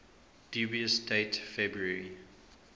dubious date february